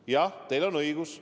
Jah, teil on õigus.